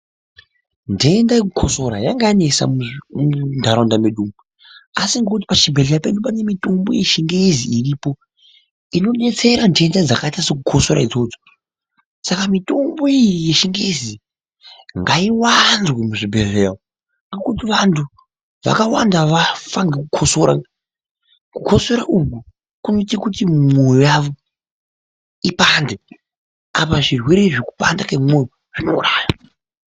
Ndendaa yekukosora yanga yanetsa mundaraunda medu umu, asi ngokuti pachibhedhlera pedu pane mitombo yechingezi iripo, inodetsera nhendaa dzakaita sekukosora idzodzo. Saka mitombo iyi yechingezi ngaiwanzwe muzvibhedhleyaa umu ngokuti vantu vakawanda vafa ngokukosora, kukosora uku kunoita kuti mwoyo yavo ipande, apa zvirwere zvekupanda kwemoyo zvinouraya.